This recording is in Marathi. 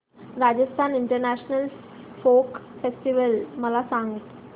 राजस्थान इंटरनॅशनल फोक फेस्टिवल मला सांग